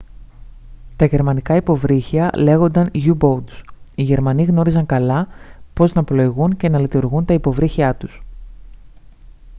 τα γερμανικά υποβρύχια λέγονταν u-boats οι γερμανοί γνώριζαν καλά πώς να πλοηγούν και να λειτουργούν τα υποβρύχιά τους